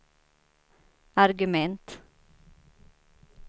argument